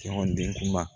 Cɛ ɲɔgɔn den kuma